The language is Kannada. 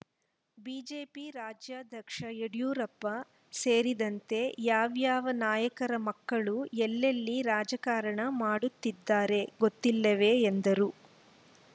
ಬಿಜೆಪಿ ರಾಜ್ಯಾಧ್ಯಕ್ಷ ಯಡಿಯೂರಪ್ಪ ಸೇರಿದಂತೆ ಯಾವ್ಯಾವ ನಾಯಕರ ಮಕ್ಕಳು ಎಲ್ಲೆಲ್ಲಿ ರಾಜಕಾರಣ ಮಾಡುತ್ತಿದ್ದಾರೆ ಗೊತ್ತಿಲ್ಲವೇ ಎಂದರು